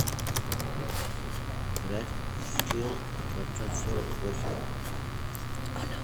играть в скил двадцать сорок восемь